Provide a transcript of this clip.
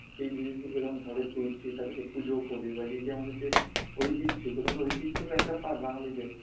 সে জিনিস গুলিকে যখন ঘরে তুলছি তাদেরকে পূজোও করি বাএইযে আমাদের যে ঐতিহ্য এগুলো তো আমাদের ঐতিহ্যরই একটা part বাঙালিদের